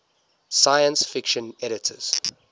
science fiction editors